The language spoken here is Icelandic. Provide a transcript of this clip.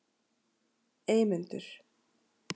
Eymundur